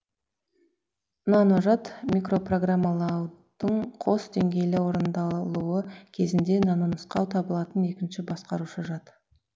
наножад микропрограммалаудың қос деңгейлі орындалуы кезінде нанонұсқау табылатын екінші басқарушы жад